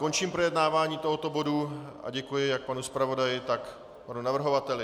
Končím projednávání tohoto bodu a děkuji jak panu zpravodaji, tak panu navrhovateli.